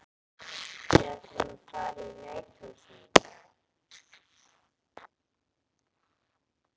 Við ætlum að fara í Nauthólsvík.